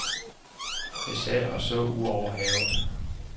Jeg sad og så ud over havet.